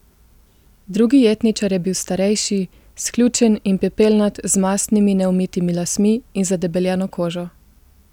Drugi jetničar je bil starejši, sključen in pepelnat z mastnimi neumitimi lasmi in zadebeljeno kožo.